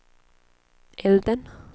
elden